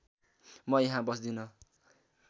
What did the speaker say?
म यहाँ बस्दिन